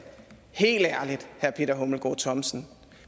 helt ærligt herre peter hummelgaard thomsen